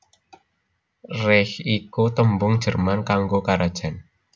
Reich iku tembung Jerman kanggo karajan